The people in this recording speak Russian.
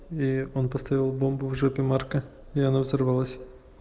и он поставил бомбу в жопе марка и она взорвалась